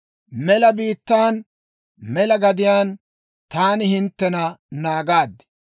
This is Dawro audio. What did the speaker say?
Mela Biittaan, mela gadiyaan taani hinttena naagaad.